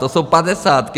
To jsou padesátky!